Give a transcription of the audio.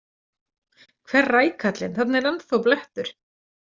Hver rækallinn, þarna er ennþá blettur!